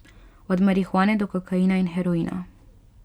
Od marihuane do kokaina in heroina.